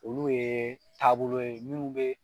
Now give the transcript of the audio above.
Olu ye taabolo ye minnu bɛ.